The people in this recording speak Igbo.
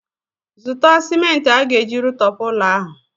Zụta sịmenti a ga-eji rụtọpụ ụlọ ahụ!